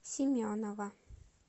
семенова